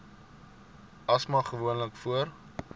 asma gewoonlik voor